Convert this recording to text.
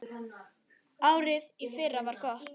Árið í fyrra var gott.